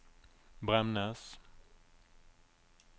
Bremnes